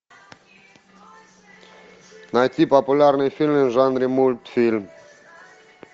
найти популярные фильмы в жанре мультфильм